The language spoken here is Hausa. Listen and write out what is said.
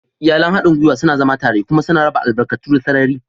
Iyalin haɗin gwiwa suna zama tare kuma suna raba albarkatu da sarari.